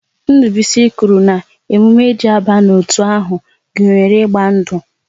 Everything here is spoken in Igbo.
Ndubuisi kwuru na emume e ji aba n'otu ahụ gunyere ịgba ndu